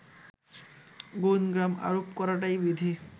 গুণগ্রাম আরোপ করাটাই বিধি